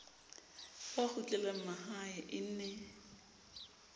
ba kgutlelang mahae e ne